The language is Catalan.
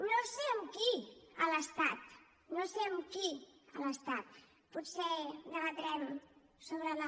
no sé amb qui a l’estat no sé amb qui a l’estat potser debatrem sobre la